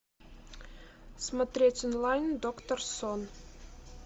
смотреть онлайн доктор сон